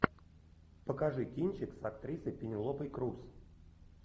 покажи кинчик с актрисой пенелопой крус